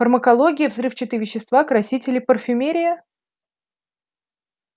фармакология взрывчатые вещества красители парфюмерия